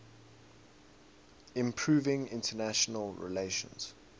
improving international relations